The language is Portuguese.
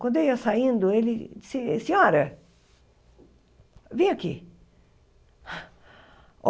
Quando eu ia saindo, ele disse, senhora, vem aqui.